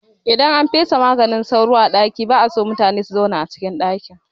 Idan an fesa maganin sauro a ɗaki ba'a so mutune su zauna cikin ɗakin